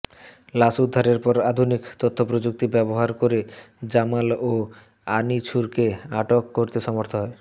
লাশ উদ্ধারের পর আধুনিক তথ্যপ্রযুক্তি ব্যবহার করে জামাল ও আনিছুরকে আটক করতে সমর্থ হয়